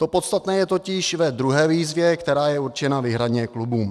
To podstatné je totiž v druhé výzvě, která je určena výhradně klubům.